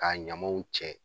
Ka ɲamanw cɛ